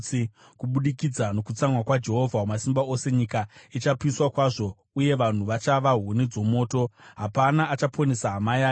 Kubudikidza nokutsamwa kwaJehovha Wamasimba Ose nyika ichapiswa kwazvo uye vanhu vachava huni dzomoto; hapana achaponesa hama yake.